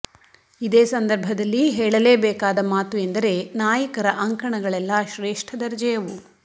ಇದೇ ಸಂದರ್ಭದಲ್ಲಿ ಹೇಳಲೇಬೇಕಾದ ಮಾತು ಎಂದರೆ ನಾಯಕರ ಅಂಕಣಗಳೆಲ್ಲ ಶ್ರೇಷ್ಠ ದರ್ಜೆಯವು